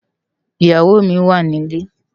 Iyáwó mi wá nilé